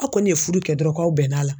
Aw kɔni ye fudu kɛ dɔrɔn k'aw bɛnn'a la